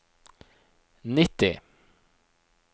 nitti